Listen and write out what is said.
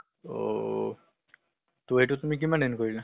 অ-হ ত এইটোত তুমি কিমান earn কৰিলা?